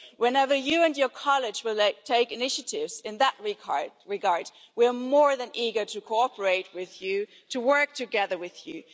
Whenever you and your college take initiatives in that regard, we are more than eager to cooperate with you, to work together with you.